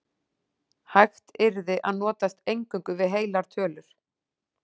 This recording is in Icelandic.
Hægt yrði að notast eingöngu við heilar tölur.